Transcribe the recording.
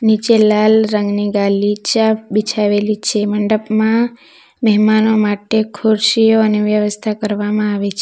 નીચે લાલ રંગની ગાલીચા બિછાવેલી છે મંડપમાં મહેમાનો માટે ખુરશીઓ અને વ્યવસ્થા કરવામાં આવી છે.